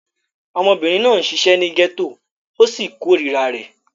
Ọmọbìnrin náà ṣiṣẹ́ ní gẹ́tò ó sì korira rẹ̀.